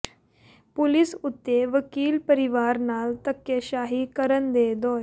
police ਉੱਤੇ ਵਕੀਲ ਪਰਿਵਾਰ ਨਾਲ ਧੱਕੇਸ਼ਾਹੀ ਕਰਨ ਦੇ ਦੋਸ਼